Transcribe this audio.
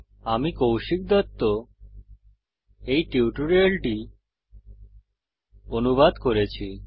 আমি কৌশিক দত্ত এই টিউটোরিয়াল টি অনুবাদ করেছি